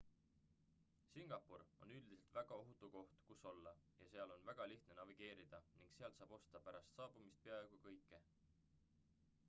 singapur on üldiselt väga ohutu koht kus olla ja seal on väga lihtne navigeerida ning sealt saab osta pärast saabumist peaaegu kõike